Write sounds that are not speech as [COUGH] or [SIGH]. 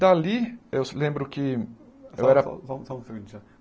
Dali, eu lembro que eu era... Só só só [UNINTELLIGIBLE]